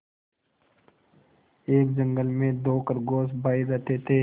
एक जंगल में दो खरगोश भाई रहते थे